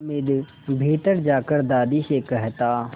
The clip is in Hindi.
हामिद भीतर जाकर दादी से कहता